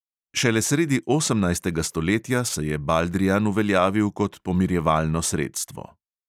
Šele sredi osemnajstega stoletja se je baldrijan uveljavil kot pomirjevalno sredstvo.